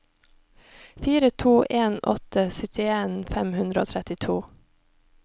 fire to en åtte syttien fem hundre og trettito